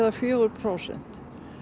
fjögur prósent